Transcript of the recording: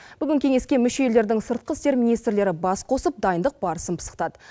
бүгін кеңеске мүше елдердің сыртқы істер министрлері бас қосып дайындық барысын пысықтады